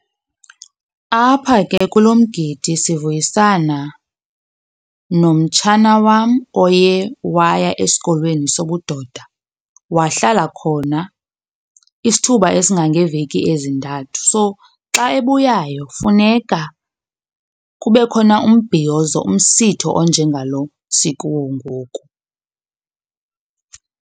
Apha ke kulo mgidi sivuyisana nomtshana wam oye waya esikolweni sobudoda wahlala khona isithuba esingangeeveki ezintathu. So, xa ebuyayo funeka kube khona umbhiyozo, umsitho, onjengalo sikuwo ngoku.